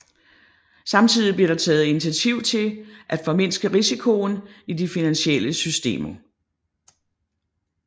Samtidig blev der taget initiativ til at formindske risikoen i de finansielle systemer